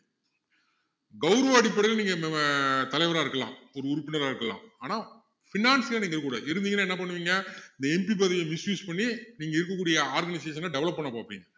கௌரவ அடிப்படையில நீங்க அஹ் தலைவரா இருக்கலாம் ஒரு உறுப்பினரா இருக்கலாம் ஆனா finance ஆ நீங்க இருக்க கூடாது இருந்தீங்கன்னா என்ன பண்ணுவீங்க இந்த MP பதவிய misuse பண்ணி நீங்க இருக்ககூடிய organization அ develop பண்ண பாப்பீங்க